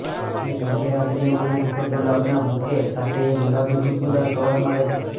એ મધ્યરાત્રિએ મને સફેદ ગુલાબના બુકે સાથે એક ગુલાબી ખુશ્બોદાર કવર મળે છે